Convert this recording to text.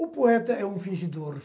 O poeta é um fingidor.